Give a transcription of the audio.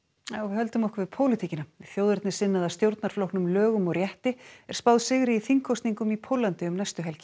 þjóðernissinnaða stjórnarflokknum lögum og rétti er spáð sigri í þingkosningum í Póllandi um næstu helgi